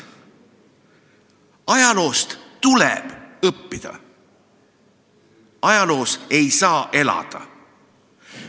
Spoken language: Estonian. Ajaloost tuleb õppida, ajaloos ei saa elada.